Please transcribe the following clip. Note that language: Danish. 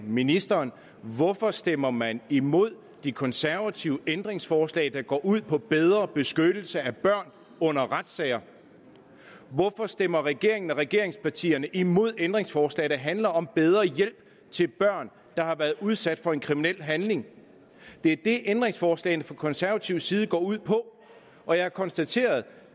ministeren hvorfor stemmer man imod de konservatives ændringsforslag der går ud på bedre beskyttelse af børn under retssager hvorfor stemmer regeringen og regeringspartierne imod ændringsforslag der handler om bedre hjælp til børn der har været udsat for en kriminel handling det er det ændringsforslagene fra konservativ side går ud på og jeg har konstateret